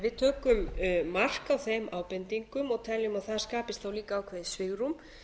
við tökum mark á þeim ábendingum og að það skapist þá líka ákveðið svigrúm